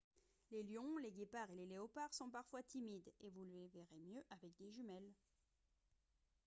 les lions les guépards et les léopards sont parfois timides et vous les verrez mieux avec des jumelles